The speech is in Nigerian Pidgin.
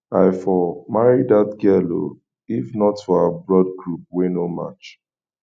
i for marry dat girl oo if not for our blood group wey no match